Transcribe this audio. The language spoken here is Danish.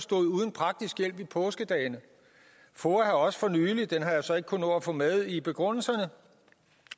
stod uden praktisk hjælp i påskedagene foa har også for nylig det har jeg så ikke kunnet nå at få med i begrundelserne